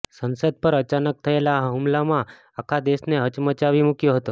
સંસદ પર અચાનક થયેલા હુમલામાં આખા દેશને હચમચાવી મૂક્યો હતો